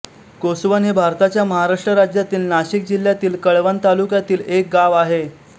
कोसवण हे भारताच्या महाराष्ट्र राज्यातील नाशिक जिल्ह्यातील कळवण तालुक्यातील एक गाव आहे